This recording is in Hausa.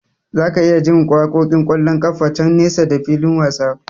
Zaka iya jin waƙoƙin ƙwallon kafa can nesa da fikin wasan.